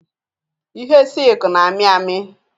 Ihe silk na-amị amị